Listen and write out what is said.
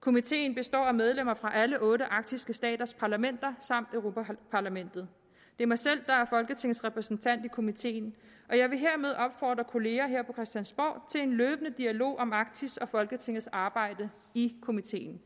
komiteen består af medlemmer fra alle otte arktiske staters parlamenter samt europa parlamentet det er mig selv der er folketingets repræsentant i komiteen og jeg vil hermed opfordre kollegaerne her på christiansborg til en løbende dialog om arktis og folketingets arbejde i komiteen